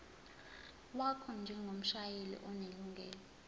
wakho njengomshayeli onelungelo